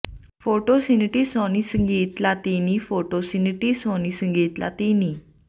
photo ਸਨੀਟੀ Sony ਸੰਗੀਤ ਲਾਤੀਨੀ ਫੋਟੋ ਸਨੀਟੀ ਸੋਨੀ ਸੰਗੀਤ ਲਾਤੀਨੀ